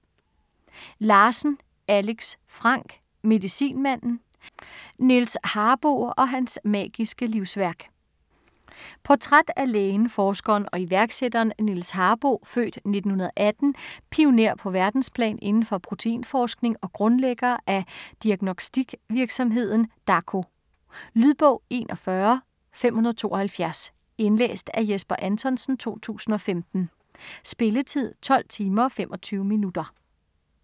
Larsen, Alex Frank: Medicinmanden: Niels Harboe og hans magiske livsværk Portræt af lægen, forskeren og iværksætteren Niels Harboe (f. 1918), pioner på verdensplan inden for proteinforskning og grundlægger af diagnostikvirksomheden Dako. Lydbog 41572 Indlæst af Jesper Anthonsen, 2015. Spilletid: 12 timer, 25 minutter.